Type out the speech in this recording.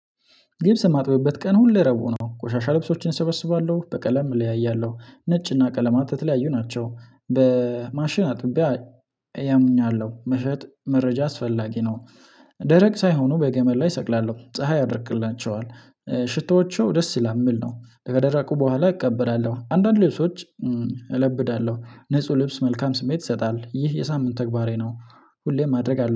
ልብስ የማጥብበት ቀን ሁሌ ረቡዕ ነው። ቆሻሻ ልብሶችን እሰበስባለሁ በቀለም እለያያለሁ ነጭና ቀለማት የተለያዩ ናቸው። በማሽን አጥቤ። ያምኛል ነው መሸጥ መረጃ አስፈላጊ ነው። ደረቅ ሳይሆኑ በገመድ ላይ እሰቅላለሁ ፀሀይ ያደርቅላቸዋል። ሽቶዎቹ ደስ ይላል የምል ነው። ከደረቁ በኋላ እቀበላለሁ አንዳንድ ሌሶች እለብዳለሁ ንጹህ ልብስ መልካም ስሜት ይሰጣል ይህ የሳምንት ተግባሬ ነው። ሁሌም ማድረግ አለብኝ